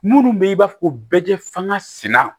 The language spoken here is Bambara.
Minnu bɛ yen i b'a fɔ ko bɛ fanga sina